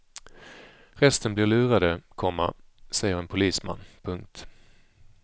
Resten blir lurade, komma säger en polisman. punkt